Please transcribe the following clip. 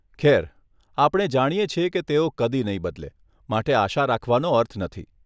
ખેર, આપણે જાણીએ છીએ કે તેઓ કદી નહીં બદલે, માટે આશા રાખવાનો અર્થ નથી.